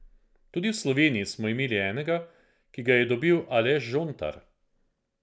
Tudi v Sloveniji smo imeli enega, ki ga je dobil Aleš Žontar.